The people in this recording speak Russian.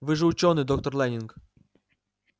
вы же учёный доктор лэннинг